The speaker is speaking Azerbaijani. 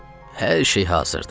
Hər şey hazırdı.